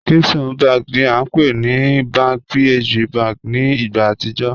Keystone bank ni a npe ni Bank PHB bank ni igba atijọ